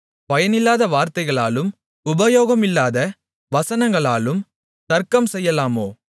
பயனில்லாத வார்த்தைகளாலும் உபயோகமில்லாத வசனங்களாலும் தர்க்கம் செய்யலாமோ